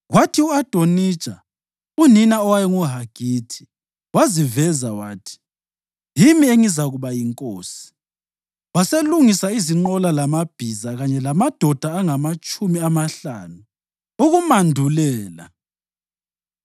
Kwathi u-Adonija, unina owayenguHagithi, waziveza wathi, “Yimi engizakuba yinkosi.” Waselungisa izinqola lamabhiza kanye lamadoda angamatshumi amahlanu ukumandulela.